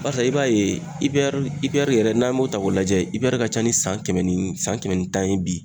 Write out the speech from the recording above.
Barisa e b'a ye ipɛri ipɛri yɛrɛ n'an y'o ta k'o lajɛ ipɛri ka ca ni san kɛmɛ ni san kɛmɛ ni tan ye bi